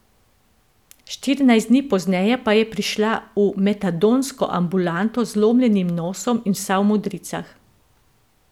Štirinajst dni pozneje pa je prišla v metadonsko ambulanto z zlomljenim nosom in vsa v modricah.